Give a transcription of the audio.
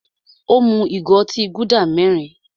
Ó mú ìgò otí Gúdà mẹ́rin.